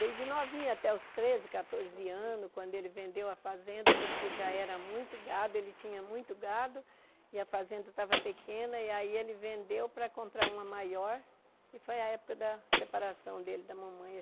Desde novinha até os treze, quatorze anos quando ele vendeu a fazenda porque já era muito gado, ele tinha muito gado e a fazenda estava pequena e aí ele vendeu para comprar uma maior e foi a época da separação dele da mamãe.